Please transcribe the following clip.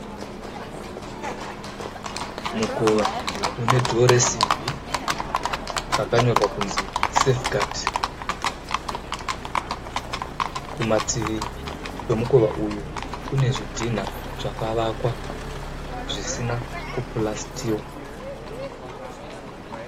Mukova unedhoo resimbi rakanyorwa kuti safigadhi. Kumativi kwemukova uyu kune zvidhina zvakavakwa zvisina kupurasitiwa